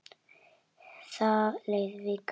Það leið vika.